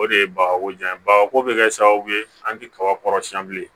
O de ye bagakojan ye bagako bɛ kɛ sababu ye an tɛ kaba kɔrɔ siyɛn bilen